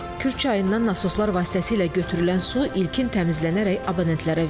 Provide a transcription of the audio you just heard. Kür çayından nasoslar vasitəsilə götürülən su ilkin təmizlənərək abonentlərə verilirdi.